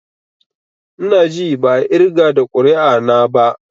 I na ji ba a irga da ƙuri'a na ba.